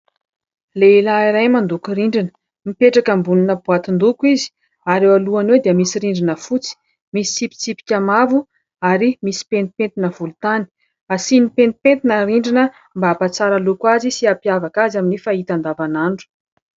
Lehilahy iray mandoko rindrina. Mipetraka ambonina boatin-doko izy ary eo alohany eo dia misy rindrina fotsy. Misy tsipitsipika maro ary misy pentimpentina volontany. Asiany pentimpentina ny rindrina mba hampatsara loko azy sy ampiavaka azy amin'ny fahita andavanandro.